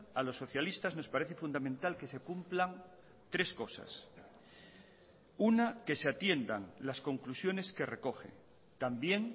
a los socialistas nos parece fundamental que se cumplan tres cosas una que se atiendan las conclusiones que recoge también